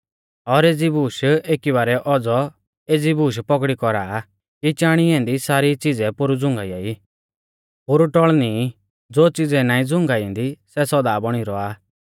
और एज़ी बूश एकी बारै औज़ौ एज़ी बूश पौगड़ी कौरा आ कि चाणी ऐन्दी सारी च़िज़ै पोरु झ़ुंगाइयाई पोरु टौल़णी ई ज़ो च़िज़ै नाईं झ़ुंगाइंदी सै सौदा बौणी रौआ